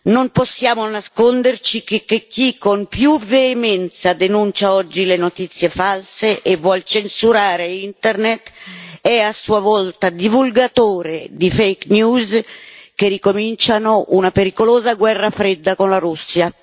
Non possiamo nasconderci che chi con più veemenza denuncia oggi le notizie false e vuole censurare Internet è a sua volta divulgatore di fake news che ricominciano una pericolosa guerra fredda con la Russia.